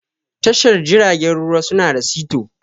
Tashar jiragen ruwa su na da sito.